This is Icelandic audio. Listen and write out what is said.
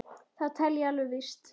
Það tel ég alveg víst.